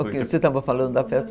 Você estava falando da festa?